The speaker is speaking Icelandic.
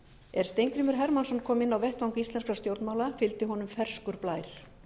er steingrímur hermannsson kom inn á vettvang íslenskra stjórnmála fylgdi honum ferskur blær